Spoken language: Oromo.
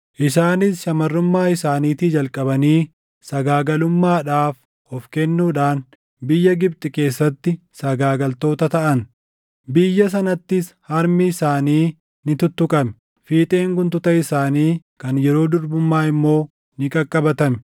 Isaanis shamarrummaa isaaniitii jalqabanii sagaagalummaadhaaf of kennuudhaan biyya Gibxi keessatti sagaagaltoota taʼan. Biyya sanattis harmi isaanii ni tuttuqame; fiixeen guntuta isaanii kan yeroo durbummaa immoo ni qaqqabatame.